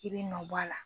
I bɛ nɔ bɔ a la